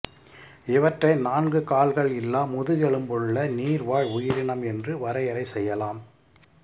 இவற்றை நான்கு கால்கள் இல்லா முதுகெலும்புள்ள நீர் வாழ் உயிரினம் என்று வரையறை செய்யலாம்